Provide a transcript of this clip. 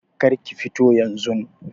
Kar ki fito yanzun.